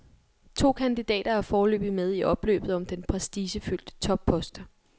To kandidater er foreløbig med i opløbet om den prestigefyldte toppost.